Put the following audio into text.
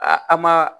A an ma